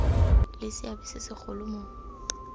le seabe se segolo mo